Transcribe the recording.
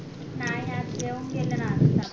नाय आज जेवून गेले ना आताच